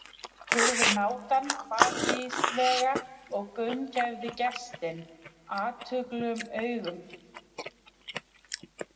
spurði hnátan hvatvíslega og gaumgæfði gestinn athugulum augum.